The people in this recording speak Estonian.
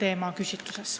Aitäh!